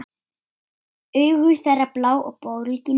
Augu þeirra blá og bólgin.